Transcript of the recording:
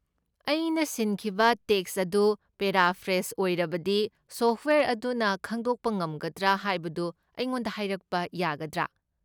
ꯑꯩꯅ ꯁꯤꯟꯈꯤꯕ ꯇꯦꯛꯁ ꯑꯗꯨ ꯄꯦꯔꯥꯐ꯭ꯔꯦꯁ ꯑꯣꯏꯔꯕꯗꯤ ꯁꯣꯐꯠꯋꯦꯌꯔ ꯑꯗꯨꯅ ꯈꯪꯗꯣꯛꯄ ꯉꯝꯒꯗ꯭ꯔꯥ ꯍꯥꯏꯕꯗꯨ ꯑꯩꯉꯣꯟꯗ ꯍꯥꯏꯔꯛꯄ ꯌꯥꯒꯗ꯭ꯔꯥ?